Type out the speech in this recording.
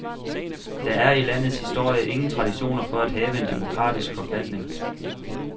Der er i landets historie ingen traditioner for at have en demokratisk forfatning.